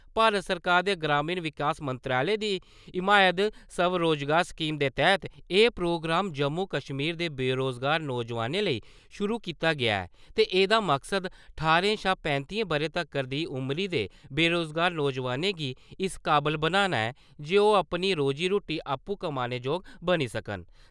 भारत सरकार दे ग्रामीण विकास मंत्रालय दी हिमायत स्वरोजगार स्कीम दे तैह्त एह् प्रोग्राम जम्मू-कश्मीर दे बेरुजगार नौजवानें लेई शुरु कीता गेआ ऐ ते एह्दा मकसद ठारें शा पैंतियें ब'रें तगर दी उमरी दे बेरुजगार नौजवानें गी इस काबल बनाना ऐ जे ओह् अपनी रोजी-रूट्टी आपूं कमाने– जोग बनी सकन ।